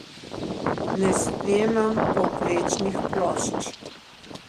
Ne snemam povprečnih plošč.